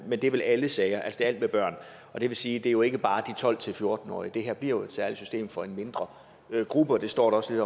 at det vel er alle sager altså alt med børn det vil sige at det jo ikke bare er de tolv til fjorten årige det her bliver jo et særligt system for en mindre gruppe og det står der også